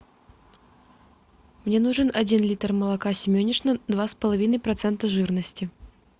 мне нужен один литр молока семенишна два с половиной процента жирности